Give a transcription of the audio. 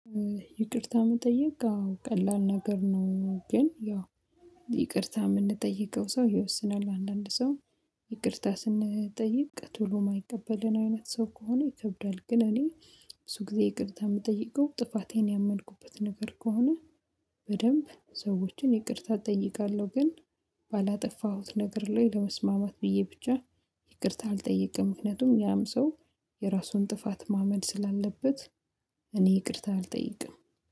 ይቅርታ መጠየቅ አዎ ቀላል ነገር ነው፤ ግን ያው ይቅርታ የምንጠይቀው ሰው ይወስናል። አንዳንድ ሰው ይቅርታ ስንጠይቅ ቶሎ የማይቀበለን አይነት ሰው ከሆነ ይከብዳል። ግን እኔ ብዙ ጊዜ ይቅርታ የምጠይቀው ጥፋቴን ያመንኩበት ነገር ከሆነ በደንብ ሰዎችን ይቅርታ እጠይቃለሁ። ግን ባላጠፋሁት ነገር ላይ ለመስማማት ብዬ ብቻ ይቅርታ አልጠይቅም፤ ምክንያቱም ያም ሰው የራሱን ጥፋት ማመን ስላለበት፤ እኔ ይቅርታ አልጠይቅም።